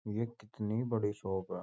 ये कितनी बड़ी शॉप है ।